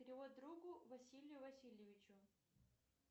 перевод другу василию васильевичу